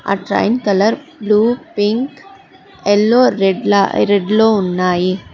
ఆ train colour blue pink yellow red లో ఉన్నాయి.